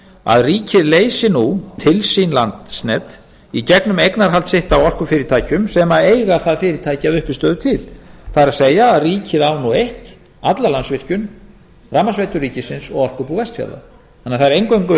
að ríkið leysi nú til sín landsnet í gegnum eignarhald sitt á orkufyrirtækjum sem eiga það fyrirtæki að uppistöðu til það er að ríkið á nú eitt alla landsvirkjun rafmagnsveitur ríkisins og orkubú vestfjarða þannig að það er